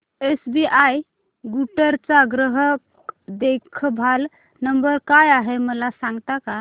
SBI Guntur चा ग्राहक देखभाल नंबर काय आहे मला सांगता का